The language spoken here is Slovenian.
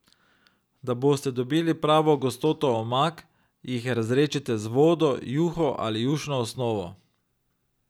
Da boste dobili pravo gostoto omak, jih razredčite z vodo, juho ali jušno osnovo.